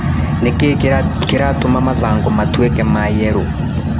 Nĩkĩ kĩratũma mathangũ matuĩke ma yerũ.